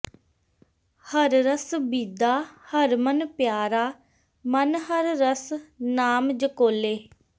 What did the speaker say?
ਹਰਿ ਰਸਿ ਬੀਧਾ ਹਰਿ ਮਨੁ ਪਿਆਰਾ ਮਨੁ ਹਰਿ ਰਸਿ ਨਾਮਿ ਝਕੋਲੇ